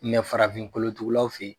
farafin kolotugulaw fe